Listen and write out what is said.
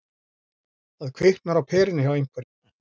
Það kviknar á perunni hjá einhverjum